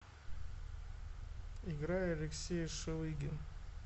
играй алексей шелыгин